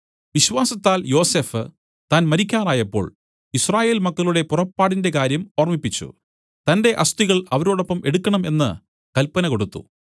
വിശ്വാസത്താൽ യോസഫ് താൻ മരിക്കാറായപ്പോൾ യിസ്രായേൽ മക്കളുടെ പുറപ്പാടിന്റെ കാര്യം ഓർമ്മിപ്പിച്ചു തന്റെ അസ്ഥികൾ അവരോടൊപ്പം എടുക്കണം എന്ന് കല്പന കൊടുത്തു